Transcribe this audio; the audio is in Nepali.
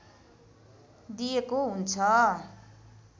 दिएको हुन्छ